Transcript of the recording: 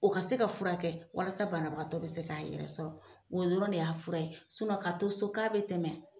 O ka se ka furakɛ walasa banabatɔ bɛ se k'a yɛrɛ sɔrɔ, o yɔrɔ de y'a fura ye , ka to so k'a bɛ tɛmɛ.